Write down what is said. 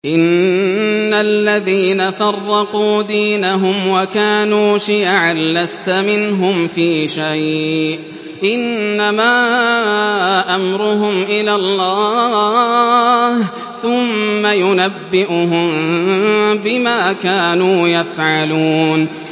إِنَّ الَّذِينَ فَرَّقُوا دِينَهُمْ وَكَانُوا شِيَعًا لَّسْتَ مِنْهُمْ فِي شَيْءٍ ۚ إِنَّمَا أَمْرُهُمْ إِلَى اللَّهِ ثُمَّ يُنَبِّئُهُم بِمَا كَانُوا يَفْعَلُونَ